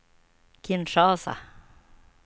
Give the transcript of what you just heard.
Kinshasa